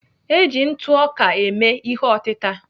Eji ntụ ọka eme ihe otịta.